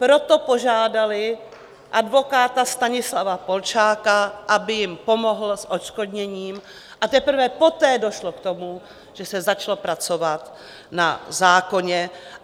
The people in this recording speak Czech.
Proto požádaly advokáta Stanislava Polčáka, aby jim pomohl s odškodněním, a teprve poté došlo k tomu, že se začalo pracovat na zákoně.